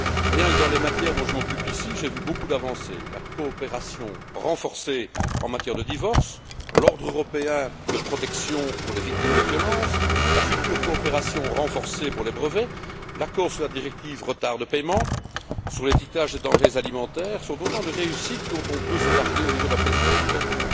Rien que dans les matières dont je m'occupe ici, j'ai vu beaucoup d'avancées la coopération renforcée en matière de divorce, l'ordre européen de protection pour les victimes de violences, la future coopération renforcée pour les brevets, l'accord sur la directive retard de paiement, sur l'étiquetage des denrées alimentaires, sont autant de réussites dont on peut se targuer au niveau de la Présidence belge.